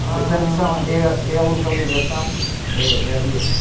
Ah.ortanto, é a, é a localização eh, é ali assim.